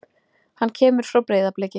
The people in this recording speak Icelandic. Hann kemur frá Breiðabliki.